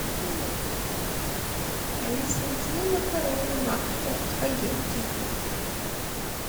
алиса нужны макароны макфа спагетти